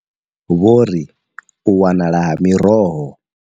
Vho ri u wanala ha miroho.